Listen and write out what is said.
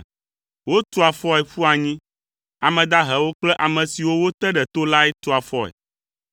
Wotua afɔe ƒua anyi. Ame dahewo kple ame siwo wote ɖe to lae tua afɔe.